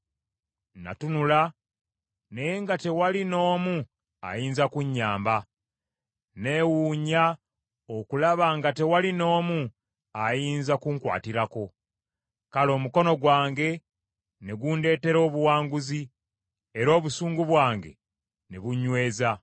Natunula naye nga tewali n’omu ayinza kunnyamba, newuunya okulaba nga tewaali n’omu ayinza kunkwatirako. Kale omukono gwange ne gundeetera obuwanguzi, era obusungu bwange ne bunnyweza.